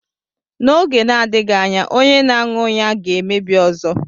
N'oge na-adịghị anya, onye na-aṅụ ya ga-emebi ọzọ.